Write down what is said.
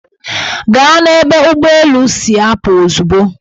Gaa n'ebe ụgbọelu si apụ ozugbo!